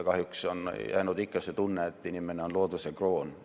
Kahjuks on jäänud ikka see tunne, et inimene on looduse kroon.